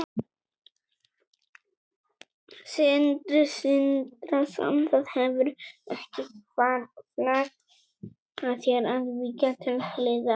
Sindri Sindrason: Það hefur ekki hvarflað að þér að víkja til hliðar?